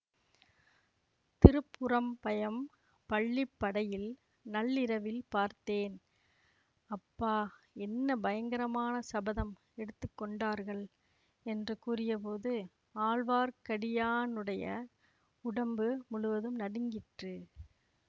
திருப்புறம்பயம் பள்ளிப்படையில் நள்ளிரவில் பார்த்தேன் அப்பா என்ன பயங்கரமான சபதம் எடுத்து கொண்டார்கள் என்று கூறிய போது ஆழ்வார்க்கடியானுடைய உடம்பு முழுவதும் நடுங்கிற்று